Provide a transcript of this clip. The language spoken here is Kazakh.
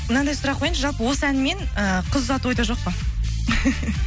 мынандай сұрақ қояйыншы жалпы осы әнмен ы қыз ұзату ойда жоқ па